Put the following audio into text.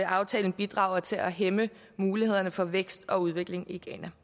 aftalen bidrager til at hæmme mulighederne for vækst og udvikling i ghana